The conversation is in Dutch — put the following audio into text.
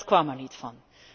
Dat kwam er niet van.